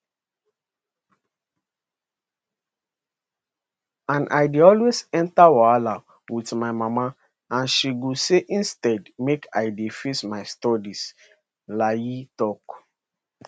and i dey always enta wahala wit my mama and she go say instead make i dey face my studies layi tok